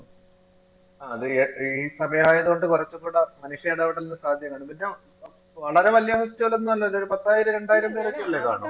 ആ ഈ സമയായതുകൊണ്ട് കുറച്ചും കൂടെ മനുഷ്യൻ ഇടപെടുന്ന എന്നിട്ടോ വളരെ വലിയ വ്യക്തികളൊന്നും അല്ലല്ലോ ഒരു പത്തോ രണ്ടായിരം പേരൊക്കെ അല്ലേ കാണൂ?